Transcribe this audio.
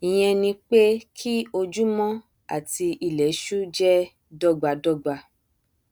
ìyẹn ni pé kí ojúmọ àti ilẹṣú jẹ dọgbadọgba